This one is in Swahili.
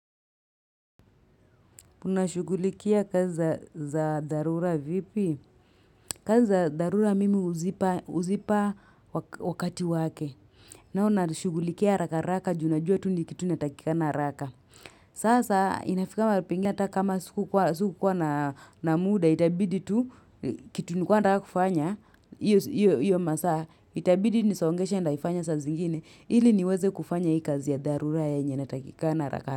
Mna shugulikia kazi za dharura vipi? Kazi za dharura mimi huzipa wakati wake. Nalo nalishugulikia haraka haraka juu najua tu ni kitu natakikana haraka. Sasa inafika mahali pengine kama sikukuwa na muda itabidi tu kitu nilikuwa nataka kufanya. Hiyo masaa itabidi nisogeshe ntaifanya saa zingine ili niweze kufanya hii kazi ya dharura yenye natakikana haraka haraka.